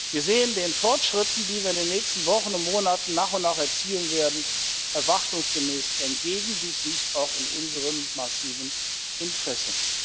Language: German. Wir sehen den Fortschritten, die wir in den nächsten Wochen und Monaten nach und nach erzielen werden, erwartungsgemäß entgegen. Dies liegt auch in unserem massiven Interesse.